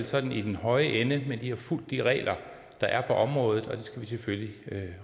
sådan i den høje ende men vi har fulgt de regler der er på området og det skal vi selvfølgelig